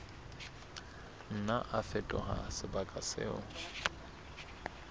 nna a fetoha sebaka moo